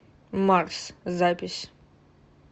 марс запись